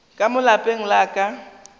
ka mo lapeng la ka